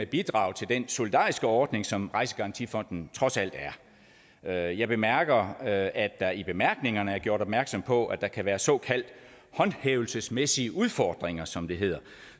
bidrage til den solidariske ordning som rejsegarantifonden trods alt er jeg bemærker at at der i bemærkningerne er gjort opmærksom på at der kan være såkaldt håndhævelsesmæssige udfordringer som det hedder